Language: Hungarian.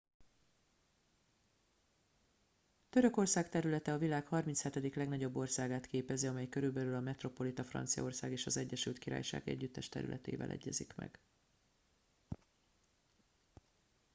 törökország területe a világ 37. legnagyobb országát képezi amely körülbelül a metropolita franciaország és az egyesült királyság együttes területével egyezik meg